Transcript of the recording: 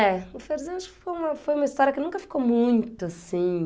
É, o Ferzinho acho que foi uma foi uma história que nunca ficou muito assim.